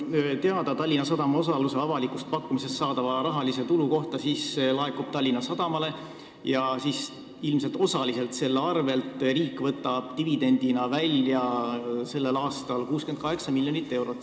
Mis puutub Tallinna Sadama osaluse avalikust pakkumisest saadava tulu kohta, siis on teada, et see raha laekub Tallinna Sadamale ja siis ilmselt osaliselt selle arvelt riik võtab dividendina välja tänavu 68 miljonit eurot.